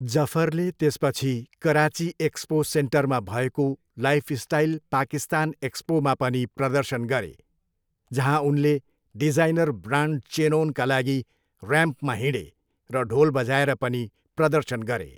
जफरले त्यसपछि कराची एक्सपो सेन्टरमा भएको लाइफस्टाइल पाकिस्तान एक्सपोमा पनि प्रदर्शन गरे, जहाँ उनले डिजाइनर ब्रान्ड चेनओनका लागि र्याम्पमा हिँडे र ढोल बजाएर पनि प्रदर्शन गरे।